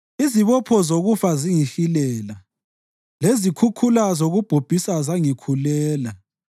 Izibopho zokufa zangihilela; lezikhukhula zokubhubhisa zangikhulela.